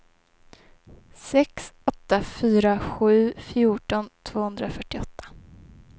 sex åtta fyra sju fjorton tvåhundrafyrtioåtta